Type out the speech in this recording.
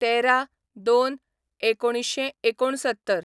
१३/०२/१९६९